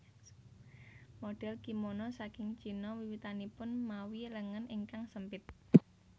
Modhel kimono saking Cina wiwitanipun mawi lengen ingkang sempit